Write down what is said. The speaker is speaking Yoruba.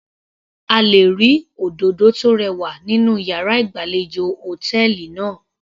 A lè rí òdòdó tó rẹwà nínú yàrá ìgbàlejò hòtẹ́ẹ̀lì náà.